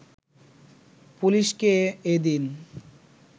পুলিশকে এদিন